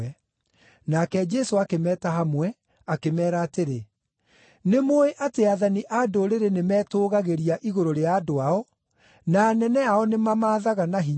Nake Jesũ akĩmeeta hamwe, akĩmeera atĩrĩ, “Nĩmũũĩ atĩ aathani a Ndũrĩrĩ nĩ metũũgagĩria igũrũ rĩa andũ ao, na anene ao nĩmamaathaga na hinya.